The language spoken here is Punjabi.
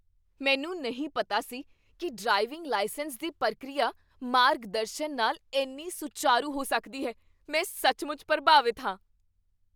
ਮੈਨੂੰ ਨਹੀਂ ਪਤਾ ਸੀ ਕੀ ਡਰਾਈਵਿੰਗ ਲਾਇਸੈਂਸ ਦੀ ਪ੍ਰਕਿਰਿਆ ਮਾਰਗਦਰਸ਼ਨ ਨਾਲ ਇੰਨੀ ਸੁਚਾਰੂ ਹੋ ਸਕਦੀ ਹੈ। ਮੈਂ ਸੱਚਮੁੱਚ ਪ੍ਰਭਾਵਿਤ ਹਾਂ!